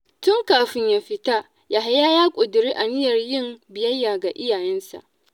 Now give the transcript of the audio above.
Tun kafin ya fita, Yahaya ya ƙudiri aniyar yin biyayya ga iyayensa.